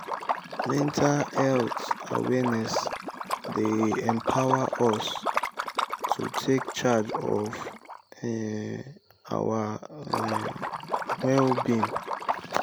mental health awareness dey empower us to take charge of um our um well-being.